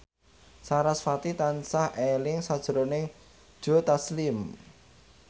sarasvati tansah eling sakjroning Joe Taslim